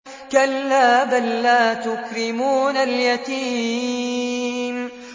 كَلَّا ۖ بَل لَّا تُكْرِمُونَ الْيَتِيمَ